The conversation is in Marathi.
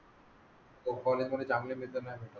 हॉली तुम्ही चांगले मित्र नाही.